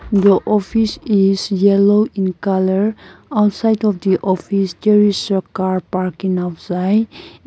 the office is yellow in colour outside of the office there is a car parking outside.